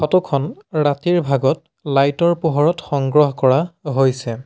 ফটোখন ৰাতিৰ ভাগত লাইটৰ পোহৰত সংগ্ৰহ কৰা হৈছে।